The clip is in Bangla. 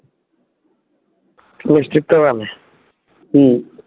মিষ্টির দোকান? হম